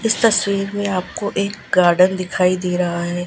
इस तस्वीर में आपको एक गार्डन दिखाई दे रहा है।